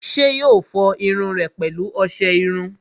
ṣé yóò fọ irun rẹ̀ pẹ̀lú ọsẹ iru?